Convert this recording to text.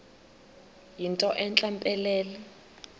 yinto entle mpelele